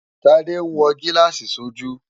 Tade n wò gilási sójú